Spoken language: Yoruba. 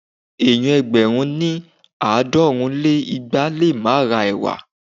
Ènìyàn ẹgbẹ̀rún ní- àádọ́rùn lé igba lé máa ra ẹ̀wà.